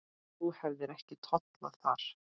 Þú hefðir ekki tollað þar.